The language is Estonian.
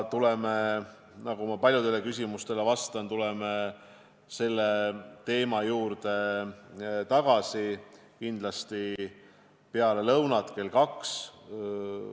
Tuleme – nagu ma paljudele küsimustele vastates olen öelnud – selle teema juurde kindlasti tagasi peale lõunat kell 14.